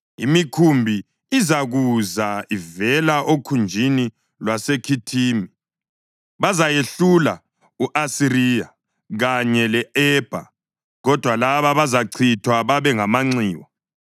Imikhumbi izakuza ivela okhunjini lwaseKhithimi; bazayehlula u-Asiriya kanye le-Ebha, kodwa laba bazachithwa babe ngamanxiwa.”